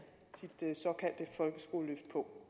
sit såkaldte folkeskoleløft på